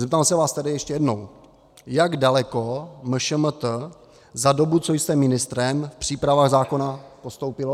Zeptám se vás tedy ještě jednou: jak daleko MŠMT za dobu, co jste ministrem, v přípravách zákona postoupilo?